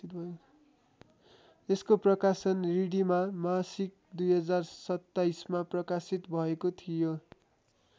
यसको प्रकाशन रिडीमा मासिक २०२७ मा प्रकाशित भएको थियो।